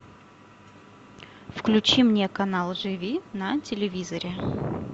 включи мне канал живи на телевизоре